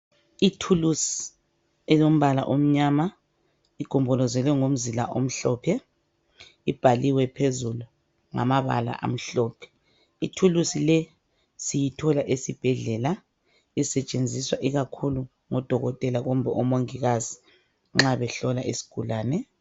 Ithulusi elombala omnyama igombolozelwe ngomzila omhlophe ibhaliwe phezulu ngamabala amhlophe. Ithulusi le siyithola esibhedlela isetshenziswa ikakhulu ngodokotela kumbe omongikazi nxa behlola isigulane.